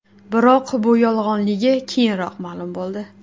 Biroq bu yolg‘onligi keyinroq ma’lum bo‘ldi .